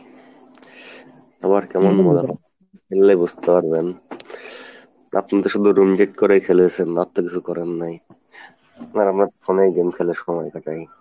খেললে বুঝতে পারবেন। আপনি তো শুধু room date করেই খেলেছেন, আর তো কিছু করেন নাই, আর আমরা phone এ game খেলে সময় কাটাই।